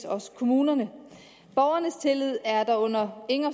også kommunerne borgernes tillid er dog under ingen